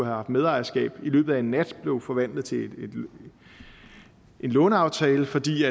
haft medejerskab i løbet af en nat blev forvandlet til en låneaftale fordi